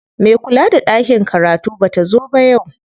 Me kula da ɗakin karatu bata zo ba yau.